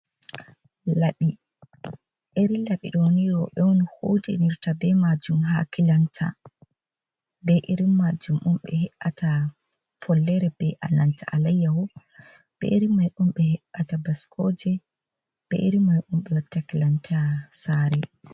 Laɓi, irin laɓi doni robe un hotinirta ɓe majum ha kilanta, be irin majum un ɓe he’ata follere, ɓe a nanta alayyawo, ɓe irin majum un ɓe he’ata baskoje, be irin majum ɓe watta kilanta sare.